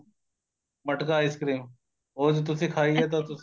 ਮਟਕਾ ice cream ਉਹ ਜੇ ਤੁਸੀਂ ਖਾਈ ਏ ਤਾਂ ਉਹ ਤੁਸੀਂ